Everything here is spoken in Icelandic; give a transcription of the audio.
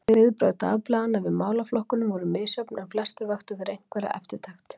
Viðbrögð dagblaðanna við málaflokkunum voru misjöfn, en flestir vöktu þeir einhverja eftirtekt.